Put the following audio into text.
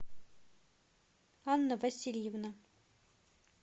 анна васильевна